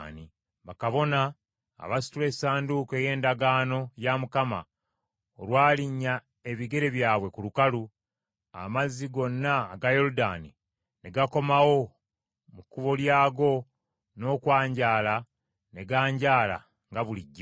Bakabona abasitula Essanduuko ey’Endagaano ya Mukama olwalinnya ebigere byabwe ku lukalu, amazzi gonna aga Yoludaani ne gakomawo mu kkubo lyago n’okwanjaala ne ganjaala nga bulijjo.